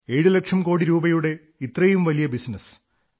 7 ലക്ഷം കോടി രൂപയുടെ ഇത്രയും വലിയ ബിസിനസ്